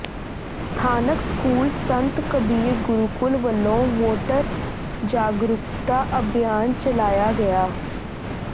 ਸਥਾਨਕ ਸਕੂਲ ਸੰਤ ਕਬੀਰ ਗੁਰੂਕਲ ਵੱਲੋਂ ਵੋਟਰ ਜਾਗਰੂਕਤਾ ਅਭਿਆਨ ਚਲਾਇਆ ਗਿਆ